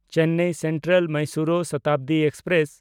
Chennai ᱥᱮᱱᱴᱨᱟᱞ–ᱢᱟᱭᱥᱩᱨᱩ Shatabdi express